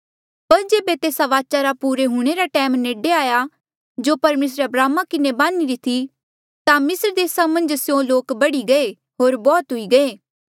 पर जेबे तेस्सा वाचा रा पुरे हूंणे रा टैम नेडे आया जो परमेसरे अब्राहमा किन्हें बान्हिरी थी ता मिस्र देसा मन्झ स्यों लोक बढ़ी गये होर बौह्त हुई गये